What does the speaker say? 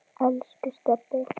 Elsku Stebbi.